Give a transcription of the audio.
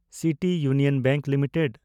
city union bank limited